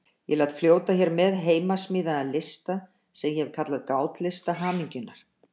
Ég læt fljóta hér með heimasmíðaðan lista sem ég hef kallað Gátlista hamingjunnar.